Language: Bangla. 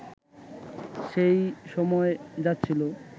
সেই সময় যাচ্ছিল